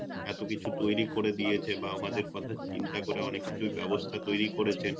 এত কিছু তৈরি করে দিয়েছে বা আমাদের কথা চিন্তা করে অনেক কিছুর ব্যবস্থা তৈরি করেছেন